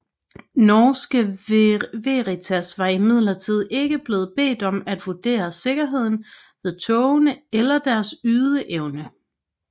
Norske Veritas var imidlertid ikke blevet bedt om at vurdere sikkerheden ved togene eller deres ydeevne